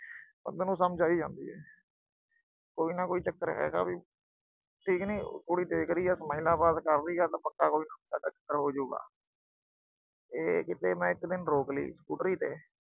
ਬੰਦੇ ਨੂੰ ਸਮਝ ਆ ਹੀ ਜਾਂਦੀ ਏ। ਕੋਈ ਨਾ ਕੋਈ ਚੱਕਰ ਹੈਗਾ ਵੀ, ਠੀਕ ਨੀ। ਕੁੜੀ ਦੇਖ ਰਹੀ ਆ। smiles ਕਰ ਰਹੀ ਆ ਤਾਂ ਪੱਕਾ ਕੋਈ ਚੱਕਰ ਹੋ ਜੂ ਗਾ। ਇਹ ਕਿਤੇ ਮੈਂ ਇੱਕ ਦਿਨ ਰੋਕ ਲਈ scooter ਤੇ